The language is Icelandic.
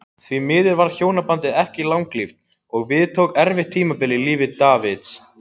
Því miður varð hjónabandið ekki langlíft og við tók erfitt tímabil í lífi Davids.